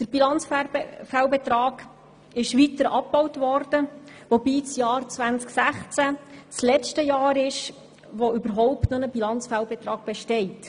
Der Bilanzfehlbetrag wurde weiter abgebaut, wobei das Jahr 2016 das letzte Jahr ist, in dem überhaupt noch ein Bilanzfehlbetrag besteht.